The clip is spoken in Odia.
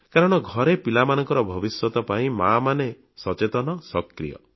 କାରଣ ଘରେ ପିଲାମାନଙ୍କ ଭବିଷ୍ୟତ ପାଇଁ ମାମାନେ ସଚେତନ ସକ୍ରିୟ